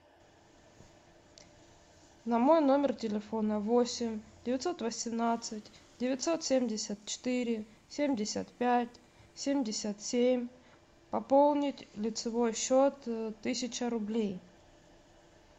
на мой номер телефона восемь девятьсот восемнадцать девятьсот семьдесят четыре семьдесят пять семьдесят семь пополнить лицевой счет тысяча рублей